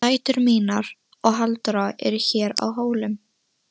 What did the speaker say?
Og dætur mínar og Halldóra eru hér á Hólum.